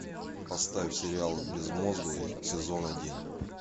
поставь сериал безмозглые сезон один